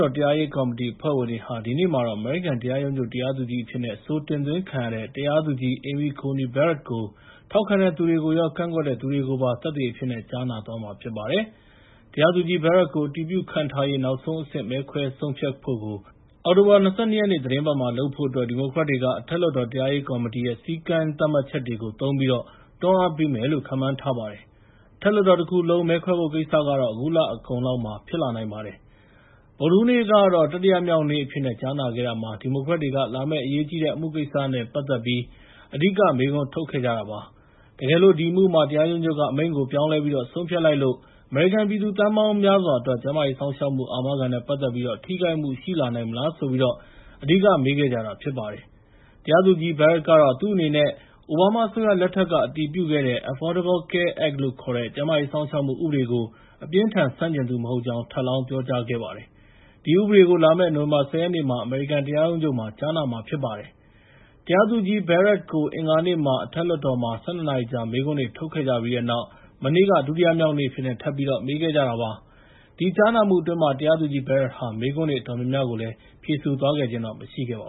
တော် တရားရေးကော်မတီအဖွဲ့ဝင်တွေဟာ ဒီနေ့မှာတော့ အမေရိကန်တရားရုံးချုပ်တရားသူကြီးအဖြစ်နဲ့ အဆိုတင်သွင်းခံထားရတဲ့ တရားသူကြီး Amy Coney Barrett ကို ထောက်ခံသူတွေနဲ့ ကန့်ကွက်တဲ့သူတွေ နှစ်ဘက်လုံးရဲ့ ပြောဆိုချက်တွေကို ကြားနာသွားမှာဖြစ်ပါတယ်။ တရားသူကြီး Barrett ကို အတည်ပြုခန့်ထားရေး နောက်ဆုံးအဆင့် မဲခွဲဆုံးဖြတ်ဖို့ကို အောက်တိုဘာလ ၂၂ ရက် သီတင်းပတ်မှာလုပ်ဖို့အတွက် ဒီမိုကရက်တွေက အထက်လွှတ်တော် တရားရေးကော်မတီရဲ့ စည်းကမ်းသတ်မှတ်ချက်တွေကို သုံးပြီး တွန်းအားပေးမယ်လို့ ခန့်မှန်းထားပါတယ်။ အထက်လွှတ်တော်တခုလုံံး မဲခွဲဖို့ကိစ္စကတော့ အခုလအကုန်လောက်မှာ ဖြစ်လာနိုင်ပါတယ်။ ဗုဒ္ဓဟူးနေ့ကတော့ တတိယမြောက်နေ့အဖြစ်နဲ့ ကြားနာခဲ့တာမှာ ဒီမိုကရက်တွေက လာမယ့် အရေးကြီးတဲ့ အမှုကိစ္စနဲ့ ပတ်သက်ပြီး အဓိက မေးခွန်းထုတ်ခဲ့ကြပါတယ်။ တကယ်လို့ အဲဒီအမှုမှာ တရားရုံးချုပ်က အမိန့်ကို ပြောင်းလဲပြီးတော့ ဆုံးဖြတ်လိုက်လို့ အမေရိကန်ပြည်သူ သန်းပေါင်းများစွာအတွက် ကျန်းမာရေးစောင့်ရှောက်မှု အာမခံနဲ့ပတ်သက်ပြီး ထိခိုက်မှုရှိလာနိုင်မလားဆိုပြီး အဓိက မေးခဲ့ကြတာဖြစ်ပါတယ်။ တရားသူကြီး Barrett ကတော့ သူ့အနေနဲ့ အိုဘားမားအစိုးရလက်ထက်က အတည်ပြုခဲ့တဲ့ Affordable Care Act လို့ခေါ်တဲ့ ကျန်းမာရေးစောင့်ရှောက်မှုဥပဒေကို အပြင်းအထန်ဆန့်ကျင်သူမဟုတ်ကြောင်း ထပ်လောင်းပြောကြားလိုက်ပါတယ်။ ဒီဥပဒေကိုတော့ လာမယ့် နိုဝင်ဘာ ၁၀ ရက်နေ့မှာ အမေရိကန်တရားရုံးချုပ်မှာ ကြားနာမှာဖြစ်ပါတယ်။ တရားသူကြီး Barrett ကို အင်္ဂါနေ့က အထက်လွှတ်တော်မှာ ၁၂ နာရီကြာ မေးခွန်းတွေထုတ်ခဲ့ကြပြီးတဲ့နောက် မနေ့က ဒုတိယမြောက်နေ့အဖြစ်နဲ့ ထပ်ပြီး မေးခဲ့ကြတာဖြစ်ပါတယ်။ အဲဒီကြားနာမှုအတွင်း တရားသူကြီး Barrett ဟာ မေးခွန်းတွေအတော်များများကိုလည်း ဖြေဆိုသွားခြင်းမရှိခဲ့ပါ